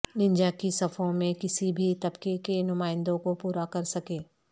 Ninja کی صفوں میں کسی بھی طبقے کے نمائندوں کو پورا کر سکے